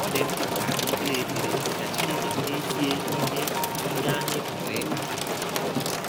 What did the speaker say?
Ọ dị mkpa ka anyị kpee ekpere ka Chineke mezie ihe ihe anyị pụrụ ịkpata.